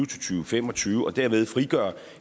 tusind og fem og tyve og derved frigøre